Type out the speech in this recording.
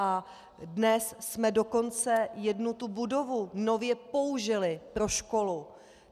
A dnes jsme dokonce jednu tu budovu nově použili pro školu.